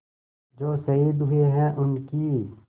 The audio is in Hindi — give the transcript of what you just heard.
जो शहीद हुए हैं उनकी